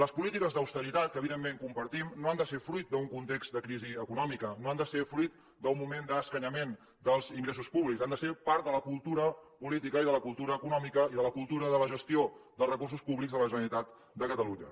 les polítiques d’austeritat que evidentment compartim no han de ser fruit d’un context de crisi econòmica no han de ser fruit d’un moment d’escanyament dels ingressos públics han de ser part de la cultura política i de la cultura econòmica i de la cultura de la gestió dels recursos públics de la generalitat de catalunya